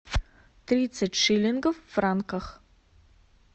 тридцать шиллингов в франках